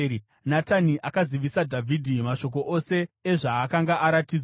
Natani akazivisa Dhavhidhi mashoko ose ezvaakanga aratidzwa.